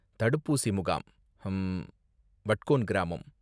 தடுப்பூசி முகாம், ஹம்ம், வட்கோன் கிராமம்.